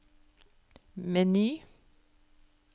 meny